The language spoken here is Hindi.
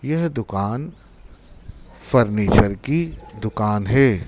यह दुकान फर्नीचर की दुकान है।